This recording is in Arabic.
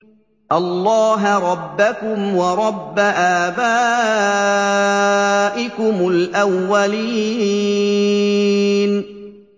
اللَّهَ رَبَّكُمْ وَرَبَّ آبَائِكُمُ الْأَوَّلِينَ